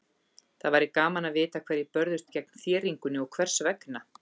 Það væri gaman að vita hverjir börðust gegn þéringunni og hvers vegna.